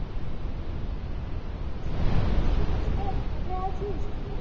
কিরে সুরোজ কোথায় আছিস? সুরজিৎ,